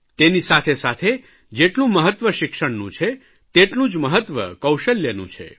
તેની સાથેસાથે જેટલું મહત્વ શિક્ષણનું છે તેટલું જ મહત્વ કૌશલ્યનું છે